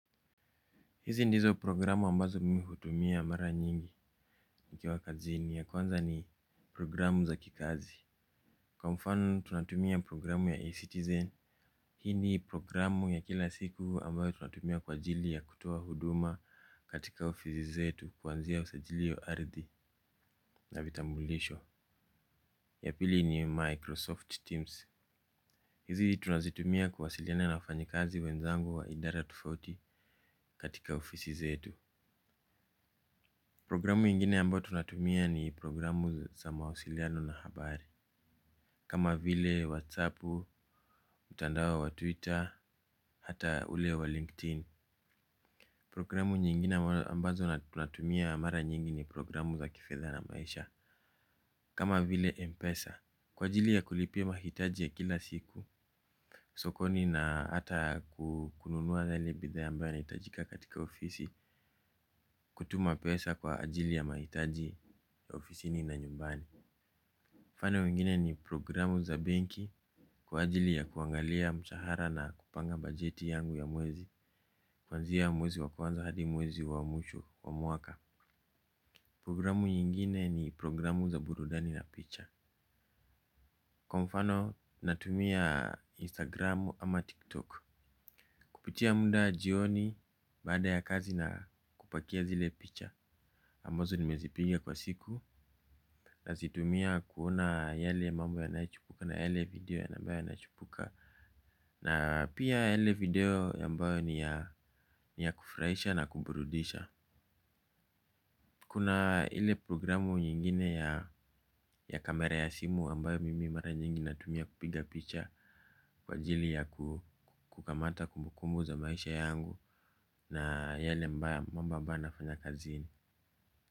Hizi ndizo programu ambazo mimi hutumia mara nyingi nikiwa kazini. Ya kwanza ni programu za kikazi. Kwa mfano, tunatumia programu ya e-citizen. Hii ni programu ya kila siku ambayo tunatumia kwa ajili ya kutoa huduma katika ofisi zetu kuanzia usajili wa arthi na vitambulisho. Ya pili ni, Microsoft Teams. Hizi tunazitumia kuwasiliana na wafanyikazi wenzangu wa idara tofauti katika ofisi zetu. Programu ingine ambayo tunatumia ni programu za mawasiliano na habari. Kama vile whatsapp, mtandao wa twitter, hata ule wa linkedin. Programu nyingine ambazo tunatumia mara nyingi ni programu za kifedha na maisha. Kama vile mpesa kwa ajili ya kulipia mahitaji ya kila siku sokoni na hata kununua yale bidhaa ambayo inahitajika katika ofisi. Kutuma pesa kwa ajili ya mahitaji ya ofisini na nyumbani. Mfano mwngine ni programu za benki, kwa ajili ya kuangalia mshahara na kupanga bajeti yangu ya mwezi. Kwanzia mwezi wa kwanza hadi mwezi wa mwisho wa mwaka. Programu nyingine ni programu za burudani na picha. Kwa mfano, natumia instagram ama tiktok. Kupitia muda jioni baada ya kazi na kupakia zile picha ambazo nimezipiga kwa siku. Nazitumia kuona yale mambo yanayochipuka na yale video ambayo yanachipuka. Na pia yale video ambayo ni ya kufurahisha na kuburudisha. Kuna ile programu nyingine ya kamera ya simu yambayo mimi mara nyingine tumia kupiga picha. Kwa jili ya kukamata kumbukumu za maisha yangu na yale mambo ambayo nafanya kazini.